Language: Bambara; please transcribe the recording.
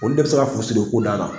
Olu de bi se ka fu siri o ko dan na